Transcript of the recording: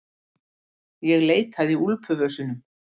Ég leitaði í úlpuvösunum.